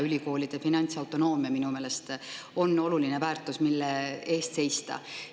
Ülikoolide finantsautonoomia on minu meelest oluline väärtus, mille eest seista.